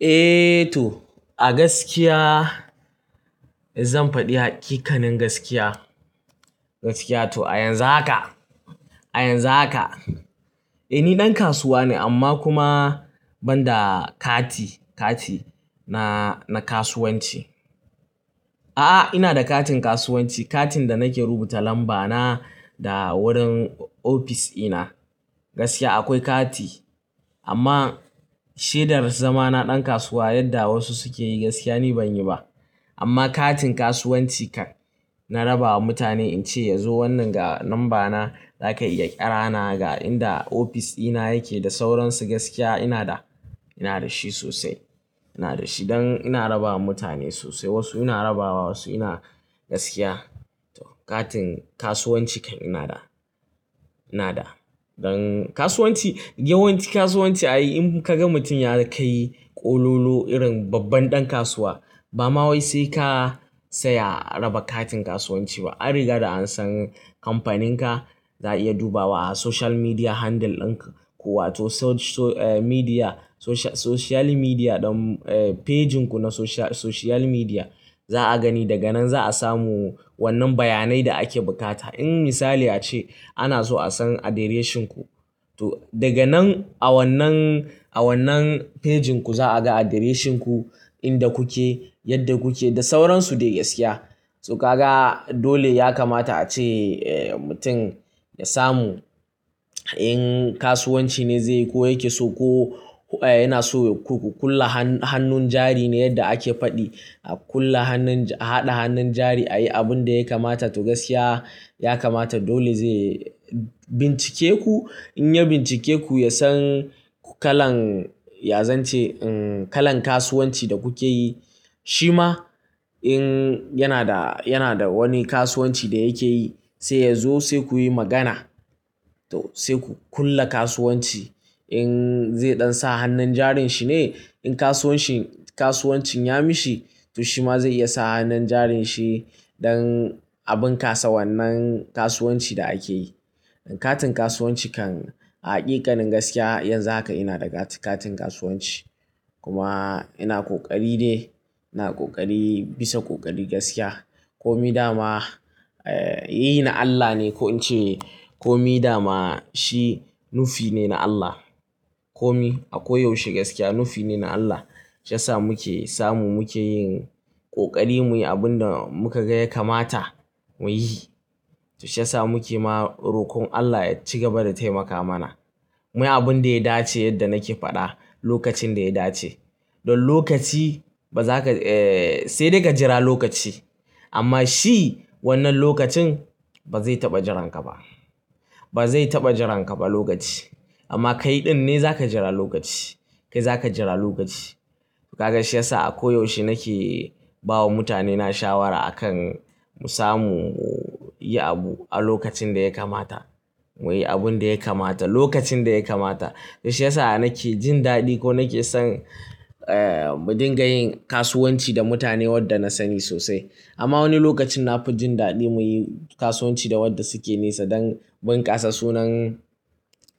Eh to a gaskiya zan faɗi haƙiƙanin gaskiya. Gaskiya to a yanzu haka, a yanzu haka. Eh ni ɗan kasuwa ne amma kuma ban da kati, kati na, na kasuwanci. A'a ina da katin kasuwanci, katin da nake rubuta lamba na da wurin ofis ina. Gaskiya akwai kati amma shaidar zama na ɗan kasuwa yadda wasu suke yi gaskiya ni ban yi ba. Amma katin kasuwanci na raba wa mutane in ce ya zo wannan ga lamba na, za ka iya ƙi ra na ga inda ofis ina yake da sauransu gaskiya ina da, ina da shi sosai. Ina da shi don ina raba wa mutane sosai wasu ina rabawa wasu ina gaskiya. To katin kasuwanci kan ina da, ina da. Don kasuwanci, yawanci kasuwanci ai in ka ga mutum ya kai ƙololo irin babban ɗan kasuwa ba ma wai sai ka saya raba katin kasuwanci ba. An riga da an san kamfanin ka, za a iya dubawa a social media handle ɗin ku wato social media, social media ɗin, eh pejinku na social media. Za a gani daga nan za a samu wannan bayanai da ake buƙata. In misali ya ce ana so a san addressinku to daga nan a wannan, a wannan pejinku za a ga addressinku, inda kuke, yadda kuke da sauransu dai gaskiya. To ka ga dole ya kamata a ce mutum ya samu in kasuwanci ne zai yi ko yake so ko yana so ku, ku, ku ƙula hannun jari ne yadda ake faɗi. A kula hannun, a haɗa hannun jari a yi abun da ya kamata to gaskiya ya kamata dole zai bincike ku. In ya bincike ku ya san ku kalan, ya zance kalan kasuwanci da kuke yi. Shi ma in yana da, yana da wani kasuwanci da yake yi sai ya zo sai ku yi magana. To sai ku kula kasuwanci. In zai ɗan sa hannun jarin shi ne, in kasuwanci, kasuwancin ya mishi to shi ma zai iya sa hannun jarin shi don abin kasa wannan kasuwanci da ake yi. Katin kasuwanci kan a haƙiƙanin gaskiya yanzu haka ina da kati, katin kasuwanci. Kuma ina ƙoƙari de, ina ƙoƙari bisa ƙoƙari gaskiya. Komi dama, eh yi na Allah ne ko in ce komi dama shi nufi ne na Allah. Komi a koyaushe gaskiya nufi ne na Allah. Shiyasa muke samu muke yin ƙoƙari muyi abin da muka ga ya kamata muyi. To shiyasa muke ma roƙon Allah ya ci gaba da taimaka mana. Muyi abin da ya dace yadda nake faɗa, lokacin da ya dace. Don lokaci ba za ka, eh sai dai ka jira lokaci amma shi wannan lokacin ba zai taɓa jiranka ba. Ba zai taɓa jiranka ba lokaci. Amma kai ɗin ne za ka jira lokaci, kai za ka jira lokaci. To ka ga shiyasa a koyaushe nake ba wa mutane na shawara akan mu samu yi abu a lokacin da ya kamata. Muyi abun da ya kamata lokacin da ya kamata. To shiyasa nake jin daɗi ko nake son, eh mudinga yin kasuwanci da mutane wadda na sani sosai. Amma wani lokacin na fi jin daɗi muyi kasuwanci da wadda suke nesa don bunƙasa sunan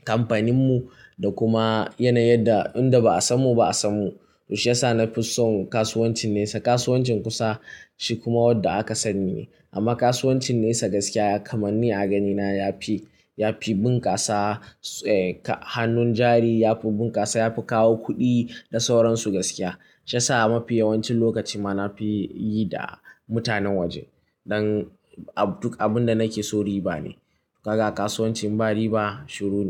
kamfanin mu da kuma yanayin da inda ba a samu ba a samu. To shiyasa na fi son kasuwancin nesa. Kasuwancin kusa shi kuma wadda aka sani ne. Amma kasuwancin nesa gaskiya ya kamanni a ganina ya fi, ya fi bunƙasa, eh ka hannun jari ya fi bunƙasa, ya fi kawo kuɗi da sauransu gaskiya. Shiyasa mafi yawancin lokaci ma na fi yi da mutanen waje don duk abun da nake so riba ne. To ka ga kasuwancin ba riba shurune.